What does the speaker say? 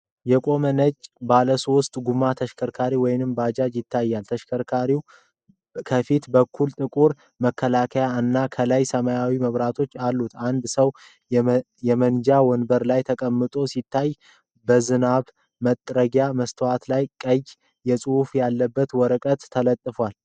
የቆመ ነጭ ባለሶስት ጎማ ተሽከርካሪ ወይም ባጃጅ ይታያል። ተሽከርካሪው ከፊት በኩል ጥቁር መከላከያ እና ከላይ ሰማያዊ መብራቶች አሉት። አንድ ሰው የመንጃ ወንበር ላይ ተቀምጦ ሲታይ፣ በዝናብ መጥረጊያ መስታወት ላይ ቀይ ጽሑፍ ያለበት ወረቀት ተለጥፏል።